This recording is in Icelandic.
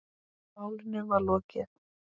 Málinu var lokið.